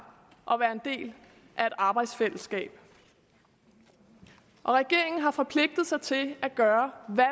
og være en del af et arbejdsfællesskab og regeringen har forpligtet sig til at gøre hvad